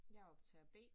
Jeg optager B